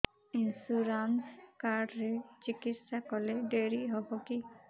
insurance card ରେ ଚିକିତ୍ସା କଲେ ଡେରି ହବକି